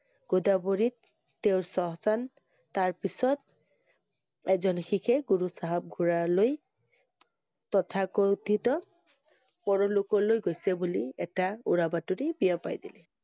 গোদাবৰীত তেওঁৰ শ্মশান তাৰ পিছত এজন শিখে গুৰু~চাহাব~গোৰাৰলৈ তথা~ক~থিত পৰলোক লৈ গৈছে বুলি এটা উৰা বাতৰি বিয়িপাই দিলে